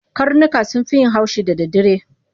Karnuka sun fi yin haushi da daddare.